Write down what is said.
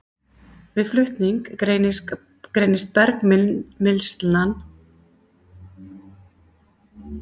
Við flutning greinist bergmylsnan í samræmi við straumhraða eftir kornastærð.